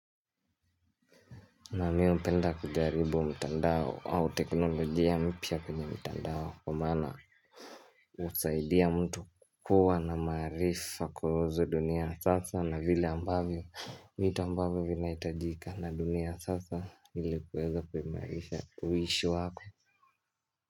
Na mimi hupenda kujaribu mtandao au teknolojia mpya kwenye mtandao kwa maana husaidia mtu kukua na maarifa kuhusu dunia sasa na vile ambavyo vitu ambavyo vinahitajika na dunia sasa ili kuweza kuimarisha uishi wako.